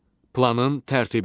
Planın tərtibi.